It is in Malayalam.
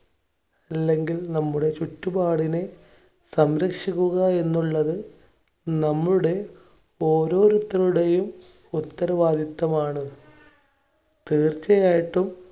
അല്ലെങ്കിൽ നമ്മുടെ ചുറ്റുപാടിനെ സംരക്ഷിക്കുക എന്നുള്ളത് നമ്മുടെ ഓരോരുത്തരുടെയും ഉത്തരവാദിത്വമാണ്. തീർച്ചയായിട്ടും